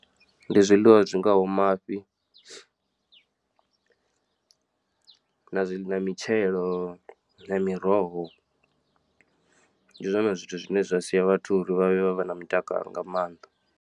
Ndi zwiḽiwa zwi ngaho mafhi, na zwi na mitshelo na miroho ndi zwone zwithu zwine zwa sia vhathu uri vha vhe vha na mutakalo nga maanḓa.